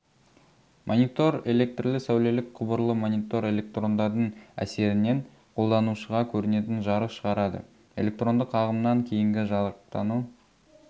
монитор электрлі-сәулелік құбырлы монитор электрондардың әсерінен қолданушыға көрінетін жарық шығарады электрондық ағымнан кейінгі жарықтану